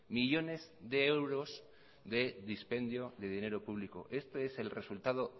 millones de euros de dispendio de dinero público este es el resultado